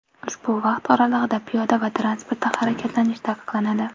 Ushbu vaqt oralig‘ida piyoda va transportda harakatlanish taqiqlanadi.